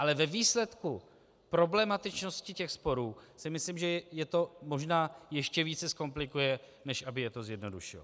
Ale ve výsledku problematičnosti těch sporů si myslím, že je to možná ještě více zkomplikuje, než aby je to zjednodušilo.